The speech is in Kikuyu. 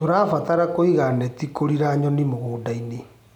Tũrabatara kũiga neti kũriĩra nyoni mũgũndainĩ.